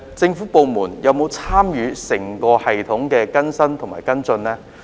政府部門有否參與整個系統的更新和跟進呢？